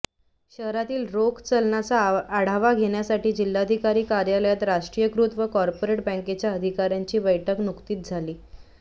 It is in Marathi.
शहरातील रोख चलनाचा आढावा घेण्यासाठी जिल्हाधिकारी कार्यालयात राष्ट्रीयकृत व कॉर्पोरेट बॅँकेच्या अधिकाऱ्यांची बैठक नकुतीच झाली